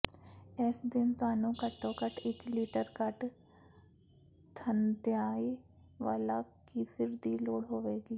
ਇਸ ਦਿਨ ਤੁਹਾਨੂੰ ਘੱਟੋ ਘੱਟ ਇਕ ਲਿਟਰ ਘੱਟ ਥੰਧਿਆਈ ਵਾਲਾ ਕੀਫਿਰ ਦੀ ਲੋੜ ਹੋਵੇਗੀ